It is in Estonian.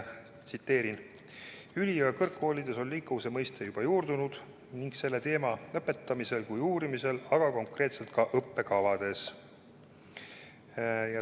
Tsiteerin: "Üli- ja kõrgkoolides on liikuvuse mõiste juba juurdunud nii selle teema õpetamisel kui uurimisel, aga konkreetselt ka õppekavades.